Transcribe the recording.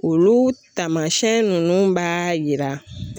Olu taamasiyɛn ninnu b'a yira